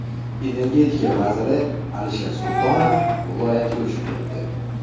Energetika vaziri Alisher Sultonov viloyatga uchib ketdi.